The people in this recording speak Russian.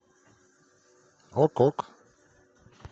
ок ок